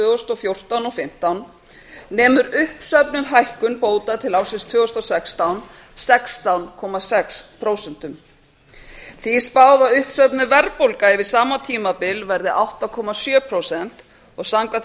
þúsund og fjórtán og tvö þúsund og fimmtán nemur uppsöfnuð hækkun bóta til ársins tvö þúsund og sextán sextán komma sex prósent því er spáð að uppsöfnuð verðbólga yfir sama tímabil yrði átta komma sjö prósent og samkvæmt